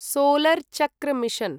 solar चक्र mission